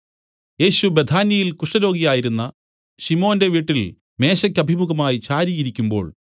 യേശു ബേഥാന്യയിൽ കുഷ്ഠരോഗിയായിരുന്ന ശിമോന്റെ വീട്ടിൽ മേശയ്ക്കഭിമുഖമായി ചാരി ഇരിക്കുമ്പോൾ